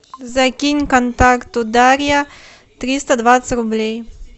закинь контакту дарья триста двадцать рублей